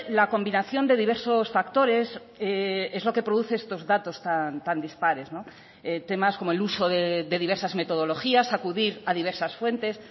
la combinación de diversos factores es lo que produce estos datos tan dispares temas como el uso de diversas metodologías acudir a diversas fuentes